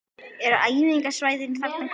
Eru æfingasvæðin þarna góð?